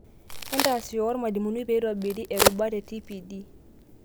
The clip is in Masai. Entaasisho wormalimuni peitobiri rubat e TPD.